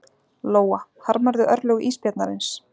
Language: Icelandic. Lóa: Harmarðu örlög ísbjarnarins?